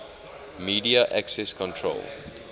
media access control